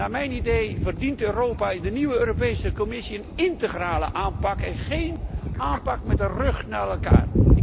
Naar mijn idee verdient Europa in de nieuwe Europese Commissie een integrale aanpak en geen aanpak met de rug naar elkaar.